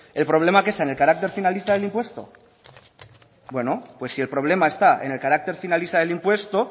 el problema está en el carácter finalista del impuesto pues si el problema está en el carácter finalista del impuesto